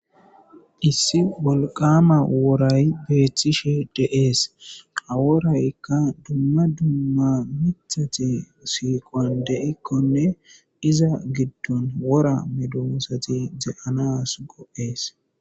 Issi wolqama woray betishe de'es ha woraykka duma duma mithati siquwan de'ikkonne iza gidon wora medosati de'anas go'es.